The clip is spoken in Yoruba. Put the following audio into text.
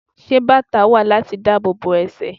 Ṣé bàtá wà láti dáàbò ẹsẹ̀?